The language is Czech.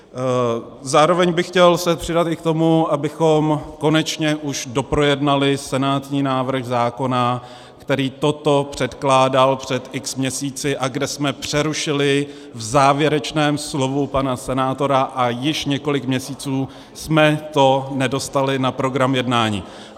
Zároveň bych se chtěl přidat i k tomu, abychom konečně už doprojednali senátní návrh zákona, který toto předkládal před x měsíci a kde jsme přerušili v závěrečném slovu pana senátora, a již několik měsíců jsme to nedostali na program jednání.